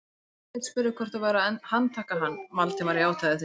Sveinbjörn spurði hvort þau væru að handtaka hann, Valdimar játaði því.